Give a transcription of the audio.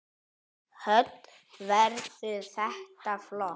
Hödd: Verður þetta flott?